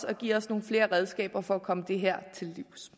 og giv os nogle flere redskaber for at komme det her til livs